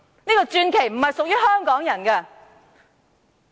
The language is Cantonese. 這個傳奇並非屬於香港人！